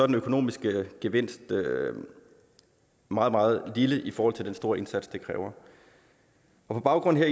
den økonomiske gevinst meget meget lille i forhold til den store indsats det kræver på baggrund